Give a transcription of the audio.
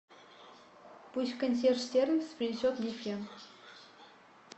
пусть консьерж сервис принесет мне фен